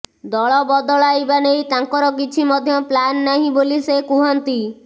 ଦଳ ବଦଳାଇବା ନେଇ ତାଙ୍କର କିଛି ମଧ୍ୟ ପ୍ଲାନ୍ ନାହିଁ ବୋଲି ସେ କୁହନ୍ତି